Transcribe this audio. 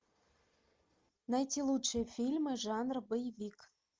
найти лучшие фильмы жанра боевик